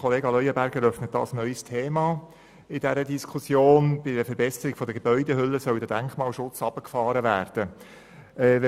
Kollege Leuenberger öffnet hier in der Diskussion ein neues Thema, indem bei der Verbesserung der Gebäudehülle der Denkmalschutz reduziert werden soll.